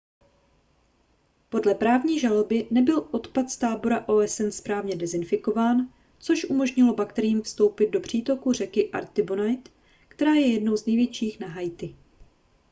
podle právní žaloby nebyl odpad z tábora osn správně dezinfikován což umožnilo bakteriím vstoupit do přítoku řeky artibonite která je jednou z největších na haiti